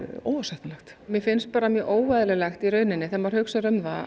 óásættanlegt mér finnst bara mjög óeðlilegt í rauninni þegar maður hugsar um það